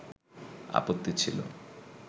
আপত্তি ছিল